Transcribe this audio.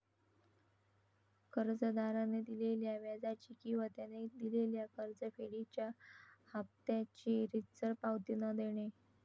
कर्जदाराने दिलेल्या व्याजाची किंवा त्याने दिलेल्या कर्जफेडीच्या हाफत्याची रीतसर पावती न देणे